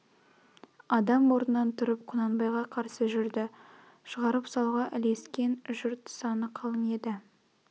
адам орнынан тұрып құнанбайға қарсы жүрді шығарып салуға ілескен жұрт саны қалың еді